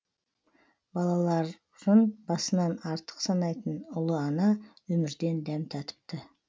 бала ларын басынан артық санайтын ұлы ана өмірден дәм татыпты